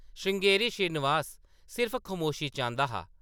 श्रृंगेरी श्रीनिवास सिर्फ खमोशी चांह्‌‌‌दा हा ।